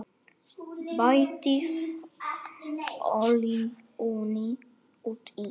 Bætið olíunni út í.